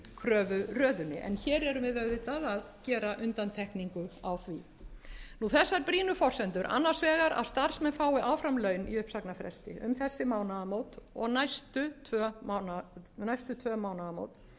en hér erum við auðvitað að gera undantekningu á því þessar brýnu forsendur annars vegar að starfsmenn fái áfram laun i uppsagnarfresti um þessi mánaðamót og næstu tvö mánaðamót